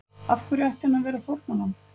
Af hverju ætti hann að vera fórnarlamb?